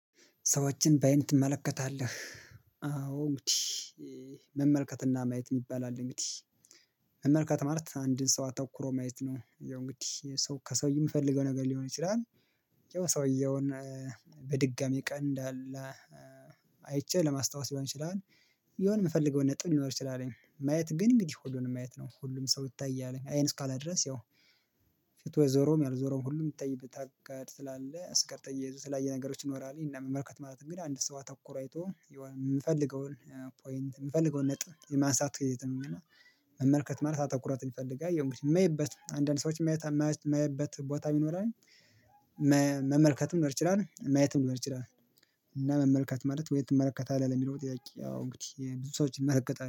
ሰዎችን በአይን ትመለከታለህ? አዎ እንግዲህ መመልከትና ማየት ይባላል። እንግዲህ መመልከት ማለት አንድን ሰው አተኩሮ ማየት ነው። ያው እንግዲህ ሰው ከሰውዬ የምፈልገው ነገር ሊሆን ይችላል። ያው ሰውየውን በድጋሚ ቀን እንዳለ አይቼ ለማስታወስ ሊሆን ይችላል። የሆነ የምፈልገውን ነጥብ ሊኖር ይችላልኝ ማየት ግን እንግዲህ ሁሉንም ማየት ነው ሁሉም ሰው ይታያል አይን እስካላለ ድረስ ያው። መመልከት ማለት አንድን ሰው አተኩሮ ማየት ነው። ያው እንግዲህ ሰው ከሰውዬ የምፈልገው ነገር ሊሆን ይችላል ያው የሰውየውን በድጋሚ ቀን እንዳለ አይቼ ለማስታወስ ሊሆን ይችላል። የሆነ የምፈልገውን ነጥብ ሊኖር ይችላል ማየት ግን እንግዲህ ሆዱን ማየት ነው። ሁሉም ሰው ይታያል አይን እስካላደረስ ያው መመልከትም ሊሆን ይችላል ማየትም ሊሆን ይችላል። እና መመልከት ማለት ወይ ትመለከታለህ ለሚለው ጥያቄ አዎ እንግዲህ ብዙ ሰዎች ይመለከታሉ